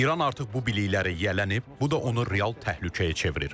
İran artıq bu bilikləri yiyələnib, bu da onu real təhlükəyə çevirir.